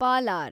Palar